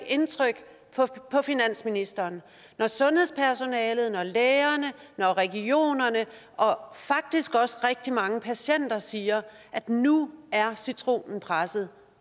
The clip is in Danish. indtryk på finansministeren når sundhedspersonalet når lægerne når regionerne og faktisk også rigtig mange patienter siger at nu er citronen presset